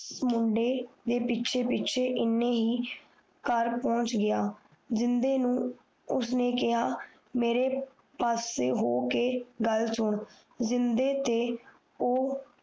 ਮੁੰਡੇ ਦੇ ਪਿੱਛੇ ਪਿੱਛੇ ਏਨੀ ਹੀ ਕਰ ਪੋਂਛ ਗਯਾ ਜਿੰਨਦੇ ਨੂੰ ਉਸ ਨੇ ਕੇਹਾ ਮੇਰੀ ਪਾਸੇ ਹੋ ਕੇ ਗੱਲ ਸੁਨ ਜਿੰਦੇ ਤੇ ਅੋ